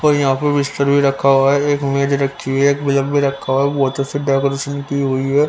और यहां पर बिस्तर भी रखा हुआ है एक मेज रखी है एक बेजब भी रखा हुआ बहोत अच्छे से डेकोरेशन की हुई है।